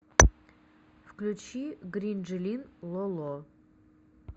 включи гринжелин ло ло